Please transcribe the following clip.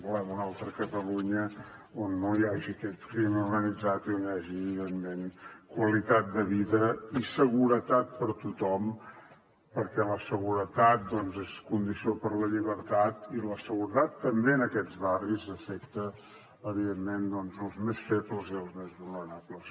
volem una altra catalunya on no hi hagi aquest crim organitzat i on hi hagi evidentment qualitat de vida i seguretat per a tothom perquè la seguretat és condició per a la llibertat i la seguretat també en aquests barris afecta evidentment els més febles i els més vulnerables